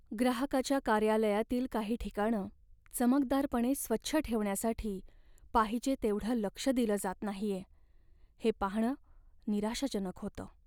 ग्राहकाच्या कार्यालयातील काही ठिकाणं चमकदारपणे स्वच्छ ठेवण्यासाठी पाहिजे तेवढं लक्ष दिलं जात नाहीये हे पाहणं निराशाजनक होतं.